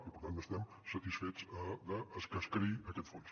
i per tant n’estem satisfets de que es creï aquest fons